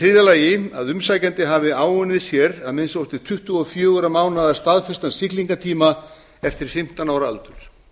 c að umsækjandi hafi áunnið sér að minnsta kosti tuttugu og fjögurra mánaða staðfestan siglingatíma eftir fimmtán ára aldur